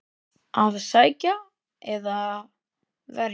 Að sækja eða verja?